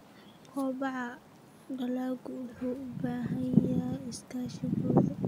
Kobaca dalaggu wuxuu u baahan yahay iskaashi bulsho.